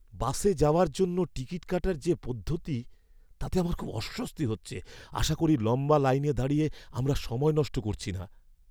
বাসে যাওয়ার জন্য টিকিট কাটার যে পদ্ধতি তাতে আমার খুব অস্বস্তি হচ্ছে, আশা করি লম্বা লাইনে দাঁড়িয়ে আমরা সময় নষ্ট করছি না!